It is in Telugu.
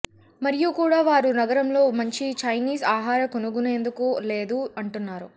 మరియు కూడా వారు నగరంలో మంచి చైనీస్ ఆహార కనుగొనేందుకు లేదు అంటున్నారు